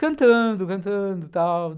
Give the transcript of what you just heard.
Cantando, cantando e tal.